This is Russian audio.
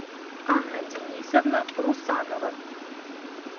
анна денисовна русанова